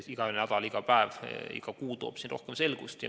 Iga nädal, iga päev, iga kuu toob rohkem selgust.